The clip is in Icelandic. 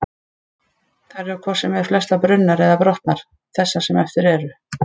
Þær eru hvort sem er flestar brunnar eða brotnar, þessar sem eftir eru.